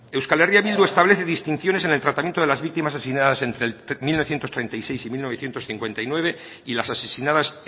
euskal herria bildu establece distinciones en el tratamiento de las víctimas asesinadas entre mil novecientos treinta y seis y mil novecientos cincuenta y nueve y las asesinadas